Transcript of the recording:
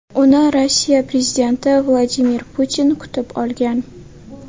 Uni Rossiya prezidenti Vladimir Putin kutib olgan.